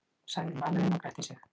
sagði maðurinn og gretti sig.